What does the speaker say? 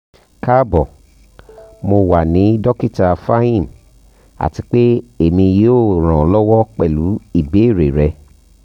kaabo mo wa ni dokita fahim ati pe emi yoo ran ọ lọwọ pẹlu ibeere rẹ